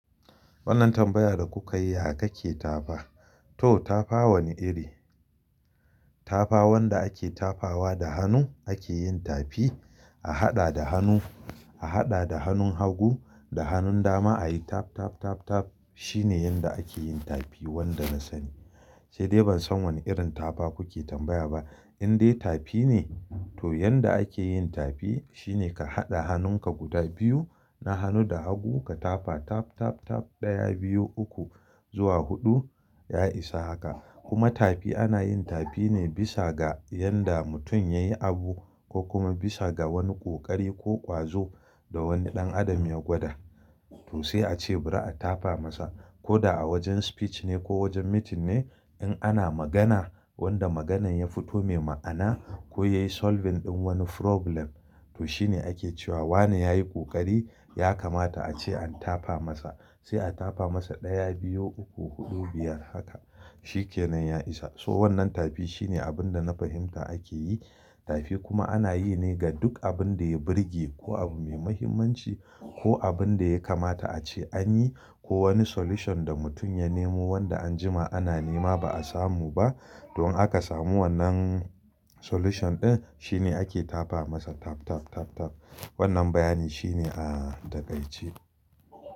Wannan tambayar da kuka yi kake tafa? To tafa wane iri? Tafa wanda ake tafawa da hannu ake yin tafi a haɗa da hannu, a haɗa da hannun hagu da hannun dama ayi taf, taf, taf, taf shine yanda ake yin tafi wanda na sani. Sai dai ban san wane irin tafa kuke tambaya ba. In dai tafi ne to yanda ake yin tafi shine ka haɗa hannunka guda biyu, na hannu da hagu ka tafa taf, taf, taf ɗaya, biyu, uku zuwa huɗu ya isa haka. Kuma tafi ana yin tafi ne bisa ga yanda mutum yayi abu ko kuma bisa ga wani ƙoƙari ko ƙwazo da wani ɗan adam ya gwada. To sai a ce bari a tafa masa. Ko da a wajen speech ne ko wajen meeting ne in ana magana wanda maganar ya fito mai ma'ana ko yayi solving ɗin wani problem to shine ake cewa wane yayi ƙoƙari yakamata a ce an tafa masa. Sai a tafa masa ɗaya, biyu, uku, huɗu, biyar haka shikenan ya isa. So wannan tafi shine abin da na fahimta ake yi. Tafi kuma ana yi ne ga duk abin da ya birge ko abu mai muhimmanci ko abin da ya kamata a ce an yi ko wani solution da mutum ya nemo wanda anjima ana nema ba a samu ba. Don aka samu wannan solution ɗin shine ake tafa masa taf, taf, taf, taf. Wannan bayani shine a, da kai ce.